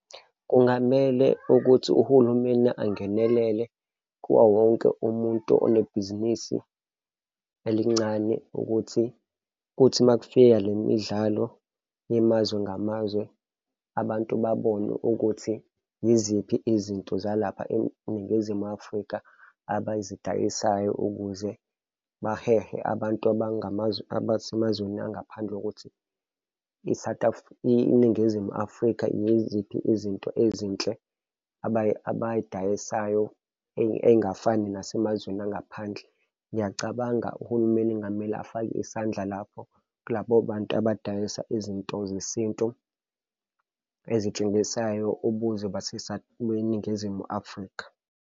Kungamele ukuthi uhulumeni angenelele kuwo wonke umuntu unebhizinisi elincane ukuthi kuthi uma kufika le midlalo yamazwe ngamazwe, abantu babone ukuthi yiziphi izinto zalapha eNingizimu Afrika abazidayisayo ukuze bahehe abantu abangamazwe abasemazweni angaphandle ngokuthi i-South iNingizimu Afrika yiziphi izinto ezinhle abayidayisayo ey'ngafani nasemazweni angaphandle. Ngiyacabanga uhulumeni kungamele afake isandla lapho kulabo bantu abadayisa izinto zesintu ezitshengisayo ubuzwe beNingizimu Afrika.